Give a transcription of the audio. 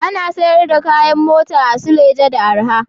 Ana siyar da kayan mota a Suleja da arha